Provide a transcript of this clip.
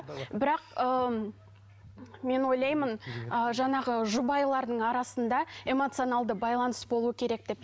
бірақ ыыы мен ойлаймын ыыы жаңағы жұбайлардың арасында эмоционалды байланыс болуы керек деп